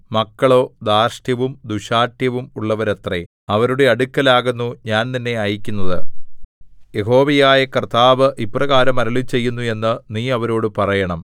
മക്കളോ ധാർഷ്ട്യവും ദുശ്ശാഠ്യവും ഉള്ളവരത്രെ അവരുടെ അടുക്കലാകുന്നു ഞാൻ നിന്നെ അയയ്ക്കുന്നത് യഹോവയായ കർത്താവ് ഇപ്രകാരം അരുളിച്ചെയ്യുന്നു എന്ന് നീ അവരോടു പറയണം